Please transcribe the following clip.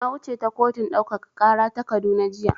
Na wuce ta kotun ɗaukaka ƙara ta Kaduna jiya.